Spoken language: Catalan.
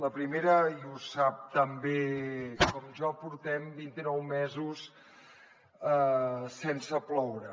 el primer i ho sap tan bé com jo portem vint i nou mesos sense ploure